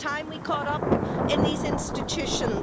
It's time we caught up in these institutions.